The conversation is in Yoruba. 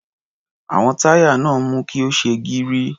Àwọn táyà náà mú kí ó ṣe gírí.